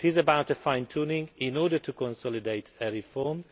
It is about fine tuning in order to consolidate a reform.